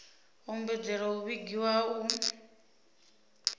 ombedzela u vhigiwa ha u